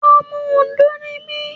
Ọmọ Òndó ni mí.